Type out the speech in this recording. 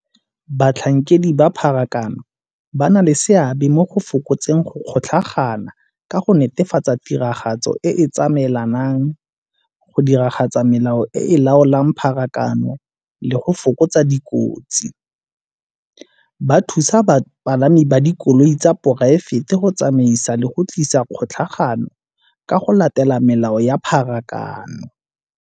Batlhankedi ba pharakano ba na le seabe mo go fokotseng go kgotlhagana ka go netefatsa tiragatso e tsamaelanang go diragatsa melao e e laolang pharakano le go fokotsa dikotsi. Ba thusa bapalami ba dikoloi tsa poraefete go tsamaisa le go tlisa kgotlhangano ka go latela melao ya pharakano.